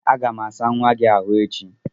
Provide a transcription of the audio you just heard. Aga m asa nwa gị ahụ echi.